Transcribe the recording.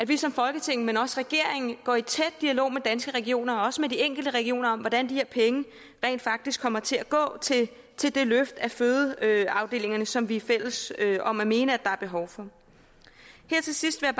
vi som folketing men også at regeringen går i tæt dialog med danske regioner og også med de enkelte regioner om hvordan de her penge rent faktisk kommer til at gå til til det løft af fødeafdelingerne som vi er fælles om at mene der er behov for her til sidst vil